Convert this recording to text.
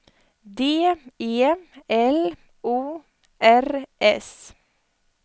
D E L O R S